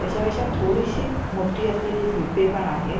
त्याच्यापेक्षा थोडीशी मोठी असलेली झुडपे पण आहेत.